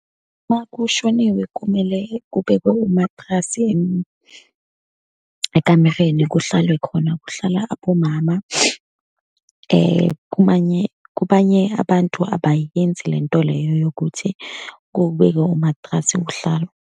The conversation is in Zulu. Uma kushoniwe kumele kubekwe umatrasi ekamereni, kuhlalwe khona, kuhlala abomama. Kumanye, kubanye abantu abayenzi lento leyo yokuthi kubekwe umatrasi kuhlalwe.